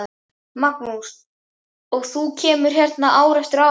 Magnús: Og þú kemur hérna ár eftir ár?